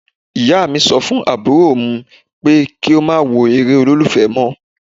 Ìyá mi sọ fún àbúrò mú pé kí ó má wo eré olólùfẹ́ mọ́.